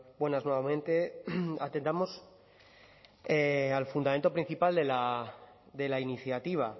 buenas nuevamente atendamos al fundamento principal de la iniciativa